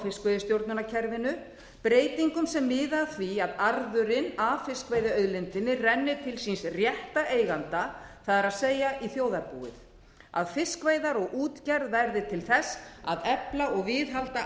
fiskveiðistjórnarkerfinu breytingum sem miða að því að arðurinn af fiskveiðiauðlindinni renni til síns rétta eiganda það er í þjóðarbúið að fiskveiðar og útgerð verði til þess að efla og viðhalda